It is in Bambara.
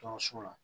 Dɔgɔso la